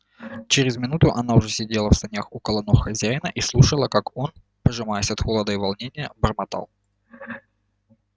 через минуту она уже сидела в санях около ног хозяина и слушала как он пожимаясь от холода и волнения бормотал